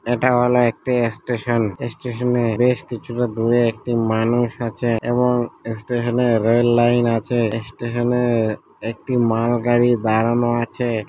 এটা হল একটি স্টেশন । এ স্টেশন -এ বেশ কিছুটা দূরে একটি মানুষ আছে এবং এস্টেশন -এর রেল লাইন আছে। স্টেশন -এ একটি মাল গাড়ি দাঁড়ানো আছে।